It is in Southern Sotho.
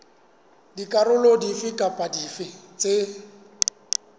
dikarolo dife kapa dife tse